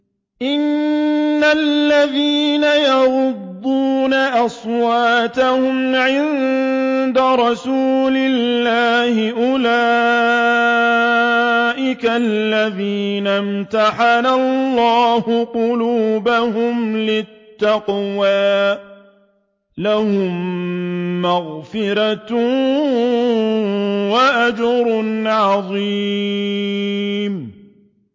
إِنَّ الَّذِينَ يَغُضُّونَ أَصْوَاتَهُمْ عِندَ رَسُولِ اللَّهِ أُولَٰئِكَ الَّذِينَ امْتَحَنَ اللَّهُ قُلُوبَهُمْ لِلتَّقْوَىٰ ۚ لَهُم مَّغْفِرَةٌ وَأَجْرٌ عَظِيمٌ